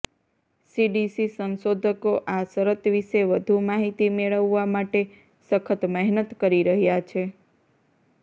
CDC સંશોધકો આ શરત વિશે વધુ માહિતી મેળવવા માટે સખત મહેનત કરી રહ્યા છે